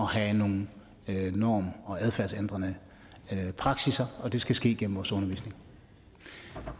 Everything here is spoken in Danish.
have nogle norm og adfærdsændrende praksisser og det skal ske gennem vores undervisning